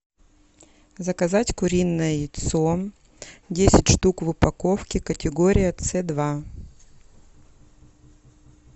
заказать куриное яйцо десять штук в упаковке категория ц два